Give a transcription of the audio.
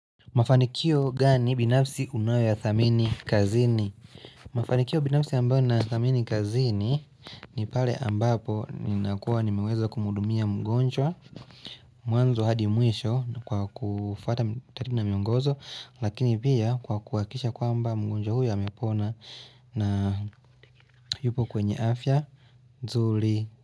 Mafanikio gani binafsi unayoyathamini kazini? Mafanikio binafsi ambao na thamini kazini ni pale ambapo ni nakuwa nimeweza kumudumia mgonjwa Mwanzo hadi mwisho kwa kufata tarina miongozo lakini pia kwa kuwakisha kwa ambao mgonjwa huyo amepona na yupo kwenye afya zuli.